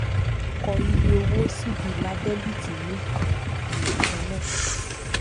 kọ iye owó síbi ilà dẹbíítì ní um ìlà kan náà